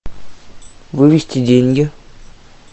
вывести деньги